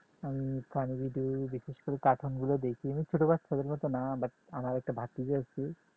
আমি funny video বিশেষ করে cartoon গুলো দেখি আমি ছোট বাচ্চাদের মত না but আমার একটা